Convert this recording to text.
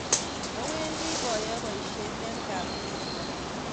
Awendi boyoe bosiet eng kambinin